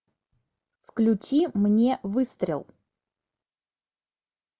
включи мне выстрел